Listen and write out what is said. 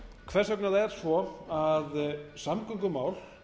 hvers vegna það er svo að samgöngumál